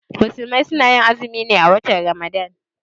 Musulmai suna azumi ne a watan ramadan.